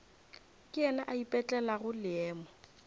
ke yena a ipetlelago leemo